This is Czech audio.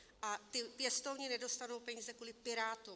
A ti pěstouni nedostanou peníze kvůli Pirátům!